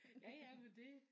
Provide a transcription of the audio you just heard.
Ja ja men det